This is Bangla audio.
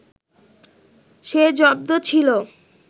সে জব্দ ছিল